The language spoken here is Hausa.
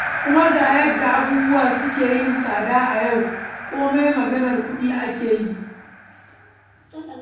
Kuma ga yadda abubuwa suka yi tsada a yau, komai maganar kuɗi ake yi.